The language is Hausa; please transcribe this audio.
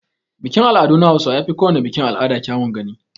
Bikin al'adu na hausawa yafi kowana bikin al'ada kyawun gani.